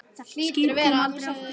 Skip koma aldrei aftur.